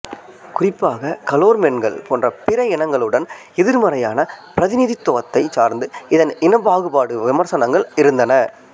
குறிப்பாக கலோர்மென்கள் போன்ற பிற இனங்களுடன் எதிர்மறையான பிரதிநிதித்துவத்தை சார்ந்து இதன் இனப்பாகுப்பாடு விமர்சனங்கள் இருந்தன